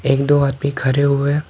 एक दो आदमी खड़े हुए--